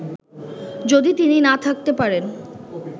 যদি তিনি না থাকতে পারেন